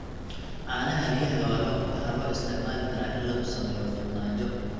Caanaha riyaha waxaa loo isticmaali karaa in lagu sameeyo farmaajo.